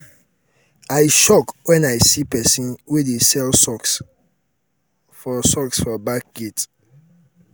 i shock wen i see person um wey dey um sell socks for socks for back gate.